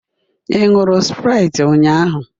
Ị ṅụọ sprite ụnyaahụ?